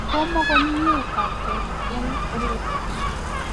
komukomie taptet eng ole puch